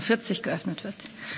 11.45 Uhr geöffnet wird.